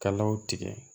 Kalaw tigɛ